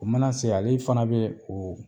O mana se ale fana be o